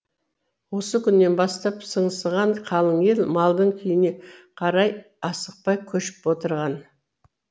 осы күннен бастап сыңсыған қалың ел малдың күйіне қарай асықпай көшіп отырған